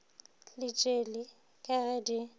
le tšeli ka ge di